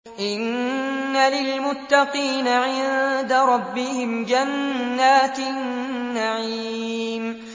إِنَّ لِلْمُتَّقِينَ عِندَ رَبِّهِمْ جَنَّاتِ النَّعِيمِ